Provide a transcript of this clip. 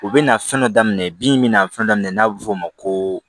U bɛna fɛn dɔ daminɛ bin min na fɛn daminɛ n'a bɛ f'o ma ko